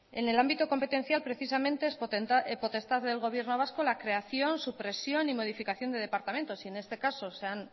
en el ámbito competencial precisamente es potestad del gobierno vasco la creación supresión y modificación de departamentos y en este caso se han